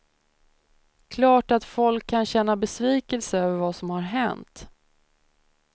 Klart att folk kan känna besvikelse över vad som har hänt.